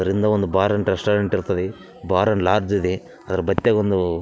ಅದ್‌ರಿಂದ ಒಂದು bar and restaurant ಇರ್ತದೆ ಬಾರ್‌ ಅಂಡ್‌ ಲಾಡ್ಜ್ ಇದೆ‌ ಅದ್ರ ಬತ್ತೆಗೊಂದು --